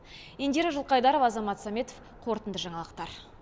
индира жылқайдарова азамат сәметов қорытынды жаңалықтар